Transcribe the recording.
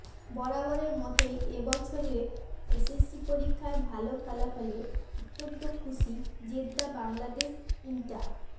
বরাবরের মতোই এ বছরের এসএসসি পরীক্ষায় ভালো ফলাফলে অত্যন্ত খুশি জেদ্দা বাংলাদেশ ইন্টা